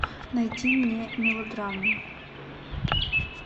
найди мне мелодраму